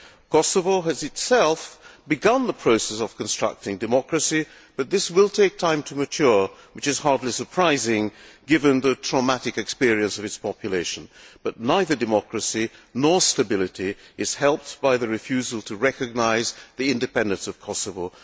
Kosovo has itself begun the process of constructing democracy, but this will take time to mature, which is hardly surprising given the traumatic experience of its population, but neither democracy nor stability is helped by the refusal to recognise the independence of Kosovo.